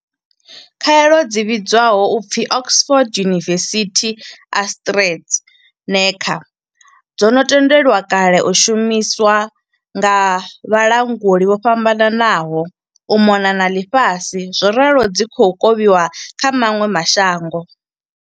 Khaelo dzi vhidzwaho u pfi Oxford University-AstraZe neca dzo no tendelwa kale u shumiswa nga vhalanguli vho fhambananaho u mona na ḽifhasi zworalo dzi khou kovhiwa kha maṅwe ma shango.